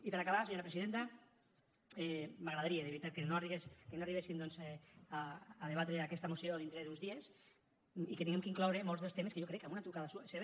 i per acabar senyora presidenta m’agradaria de veritat que no arribéssim doncs a debatre aquesta moció dintre d’uns dies i que hàgim d’incloure molts dels temes que jo crec que amb una trucada seva